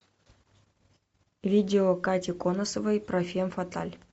видео кати конусовой про фен фаталь